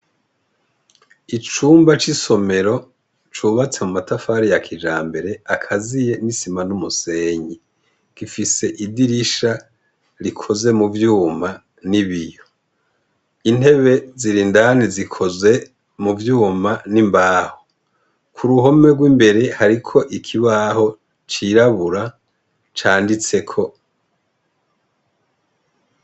Icumba c'isomero cubatse mu matafari ya kija mbere akaziye n'isima n'umusenyi gifise idirisha rikoze mu vyuma n'ibiyo intebe zirindani zikoze mu vyuma n'imbaho ku ruhome rw'imbere hariko ikibaho cirabura canditseko.